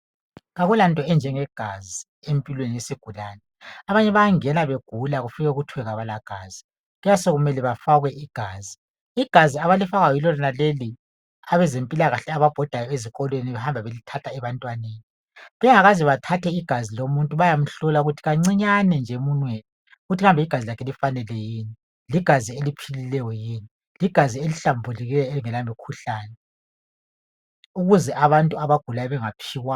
Akulanto enjengegazi empilweni yesigulane, abanye bayangena begula kufikwe kuthiwe abalagazi kuyabe sokumele bafakwe igazi. Igazi abalifakwayo yilo lonaleli abezempilakahle ababhodayo ezikolweni behamba belithatha ebantwaneni. Bengakaze bathathe igazi lomuntu bayamhlola ukuthi kancinyane nje emunweni ukuthi kambe igazi lakhe lifanele yini, ligazi eliphilileyo yini, ligazi elihlambulukileyo elingela mikhuhlane ukuze abantu abagulayo bengaphiwa amagcikwane.